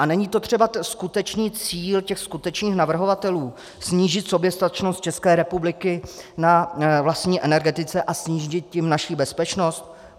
A není to třeba skutečný cíl těch skutečných navrhovatelů - snížit soběstačnost České republiky na vlastní energetice a snížit tím naši bezpečnost?